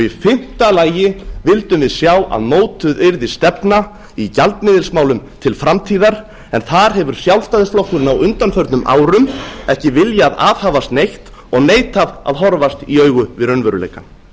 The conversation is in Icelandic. í fimmta lagi vildum við sjá að mótuð yrði stefna í gjaldmiðilsmálum til framtíðar en þar hefur sjálfstæðisflokkurinn á undanförnum árum ekki viljað aðhafast neitt og neitað að horfast í augu við raunveruleikann